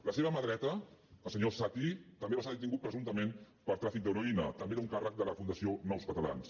la seva mà dreta el senyor satti també va ser detingut presumptament per tràfic d’heroïna també era un càrrec de la fundació nous catalans